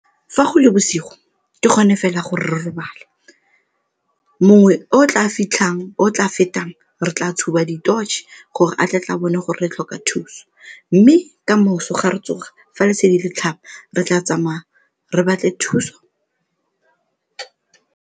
Fa go le bosigo ke gone fela gore re robale. Mongwe o o tla fitlhang o o tla fetang re tla tshuba di-torch gore a tle tle a bone gore re tlhoka thuso mme kamoso ga re tsoga, fa lesedi le tlhaba re tla tsamaya re batle thuso.